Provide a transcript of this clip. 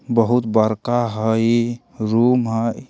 बहुत बरका हई रूम हई।